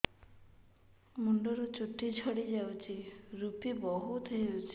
ମୁଣ୍ଡରୁ ଚୁଟି ଝଡି ଯାଉଛି ଋପି ବହୁତ ହେଉଛି